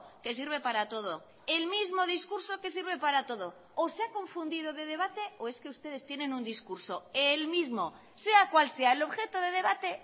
que sirve para todo el mismo discurso que sirve para todo o se ha confundido de debate o es que ustedes tienen un discurso el mismo sea cual sea el objeto de debate